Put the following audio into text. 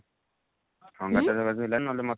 ସଂଗାତ ର ହେଲାନି ନହେଲେ ମୋତେ